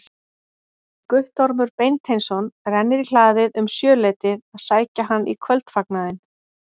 Guttormur Beinteinsson rennir í hlaðið um sjöleytið að sækja hann í kvöldfagnaðinn.